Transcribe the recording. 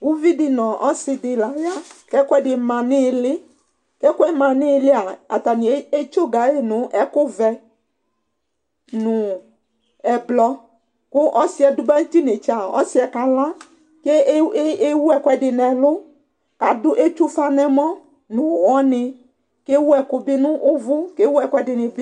uvi di no ɔse di la ya k'ɛkoɛdi ma n'ili k'ɛkoɛ ma n'iliɛa atani etsoga yi no ɛkò vɛ no ublɔ kò ɔsiɛ do ba no t'inetsɛ ɔsiɛ kala k'ewu ɛkoɛdi n'ɛlu k'ado etsue ufa n'ɛmɔ no uwɔ ni k'ewu ɛkò bi n'uvò k'ewu ɛkoɛdi ni bi